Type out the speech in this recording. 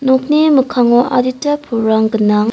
nokni mikkango adita pulrang gnang.